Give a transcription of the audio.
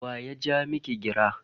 Wa ya ja miki gira?